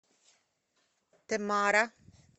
темара